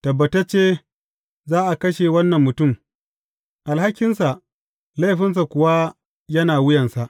Tabbatacce za a kashe wannan mutum, alhakinsa laifinsa kuwa yana wuyansa.’